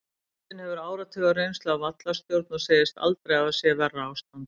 Kristinn hefur áratuga reynslu af vallarstjórn og segist aldrei hafa séð verra ástand.